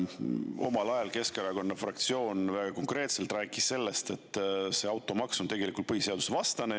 Omal ajal Keskerakonna fraktsioon väga konkreetselt rääkis sellest, et see automaks on tegelikult põhiseadusvastane.